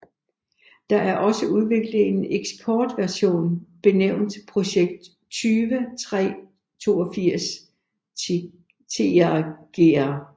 Der er også udviklet en eksportversion benævnt Projekt 20382 Tigr